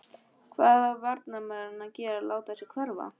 Hvað á varnarmaðurinn að gera láta sig hverfa?